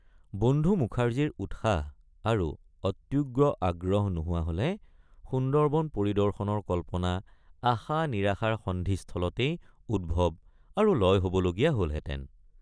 বন্ধু মুখাৰ্জীৰ উৎসাহ আৰু অত্যুগ্ৰ আগ্ৰহ নোহোৱা হলে সুন্দৰবন পৰিদৰ্শনৰ কল্পনা আশানিৰাশাৰ সন্ধিস্থলতেই উদ্ভৱ আৰু লয় হবলগীয়া হলহেঁতেন।